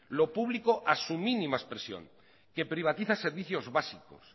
lo público a su mínima expresión que privatiza servicios básicos